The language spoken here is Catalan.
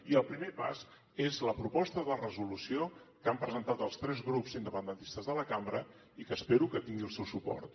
i el primer pas és la proposta de resolució que han presentat els tres grups independentistes de la cambra i que espero que tingui el seu suport